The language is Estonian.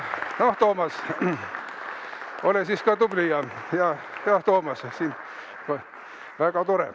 Jah, Toomas, ole tubli ja hea!